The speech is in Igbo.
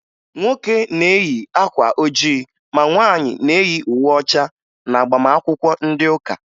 Nwoke na-eyi akwa ojii ma nwaanyị na-eyi uwe ọcha n'agbamakwụkwọ ndị ụka